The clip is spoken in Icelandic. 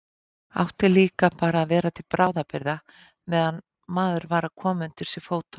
Átti líka bara að vera til bráðabirgða meðan maður var að koma undir sig fótunum.